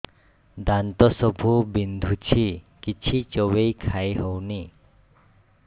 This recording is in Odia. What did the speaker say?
ଦାନ୍ତ ସବୁ ବିନ୍ଧୁଛି କିଛି ଚୋବେଇ ଖାଇ ହଉନି